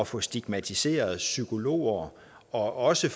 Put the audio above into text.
få stigmatiseret psykologer og også